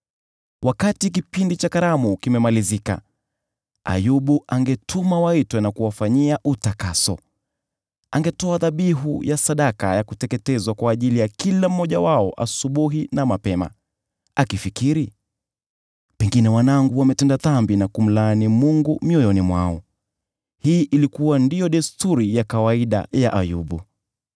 Wakati kipindi cha karamu kilimalizika, Ayubu angetuma waitwe na kuwafanyia utakaso. Angetoa dhabihu ya sadaka ya kuteketezwa kwa ajili ya kila mmoja wao asubuhi na mapema, akifikiri, “Pengine wanangu wametenda dhambi na kumlaani Mungu mioyoni mwao.” Hii ilikuwa ndiyo desturi ya kawaida ya Ayubu.